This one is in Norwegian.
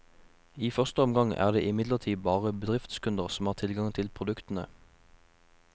I første omgang er det imidlertid bare bedriftskunder som har tilgang til produktene.